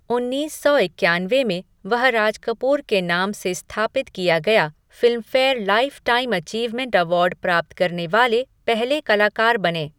उन्नीस सौ ईकयानवे में, वह राज कपूर के नाम से स्थापित किया गया फिल्मफ़ेयर लाइफ़टाइम अचीवमेंट अवार्ड प्राप्त करने वाले पहले कलाकार बने।